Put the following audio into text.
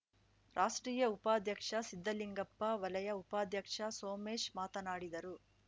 ರಾಷ್ಟ್ರೀಯ ಉಪಾಧ್ಯಕ್ಷ ಸಿದ್ಧಲಿಂಗಪ್ಪ ವಲಯ ಉಪಾಧ್ಯಕ್ಷ ಸೋಮೇಶ್‌ ಮಾತನಾಡಿದರು